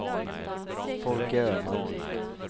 Folke Öman